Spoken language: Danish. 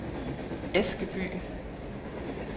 Askeby